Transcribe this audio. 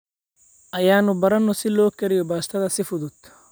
Aynu baranno sida loo kariyo baastada si fudud.